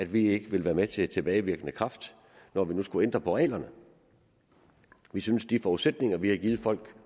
vi ikke vil være med til at tilbagevirkende kraft når vi nu skulle ændre på reglerne vi synes de forudsætninger vi har givet folk